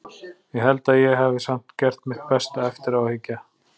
Ég held að ég hafi samt gert mitt besta, eftir á að hyggja.